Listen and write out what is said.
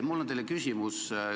Mul on teile küsimus.